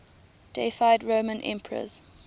deified roman emperors